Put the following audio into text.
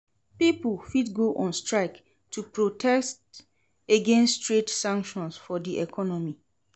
Pipo fit go on strike to protest against trade sanctions for di economy